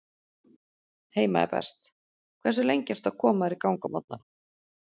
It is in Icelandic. Heima er best Hversu lengi ertu að koma þér í gang á morgnanna?